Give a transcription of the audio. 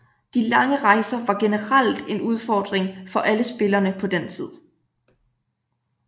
De lange rejser var generelt en udfording for alle spillerne på den tid